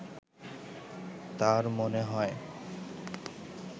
তাঁর মনে হয়